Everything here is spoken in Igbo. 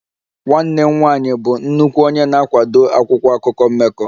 Nwanne m nwanyị bụ nnukwu onye na-akwado akwụkwọ akụkọ mmekọ